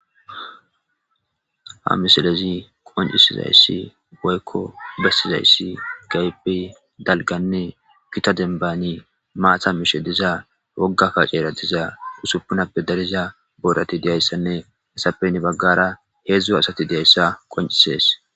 Ha misilezi qonccisizayssi woykko bessizayssi keehipe dalgganne gita denbani maata mishe diza wogga kaccera diza usuppunappe dariza boorati diyayssanne hessappe heni baggara heedzdzu asati diyayssa qonccisees.